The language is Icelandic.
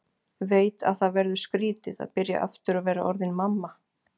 Veit að það verður skrýtið að byrja aftur og vera orðin mamma.